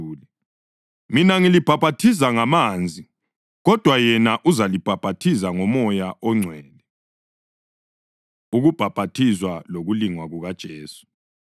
Mina ngilibhaphathiza ngamanzi, kodwa yena uzalibhaphathiza ngoMoya oNgcwele.” Ukubhaphathizwa Lokulingwa KukaJesu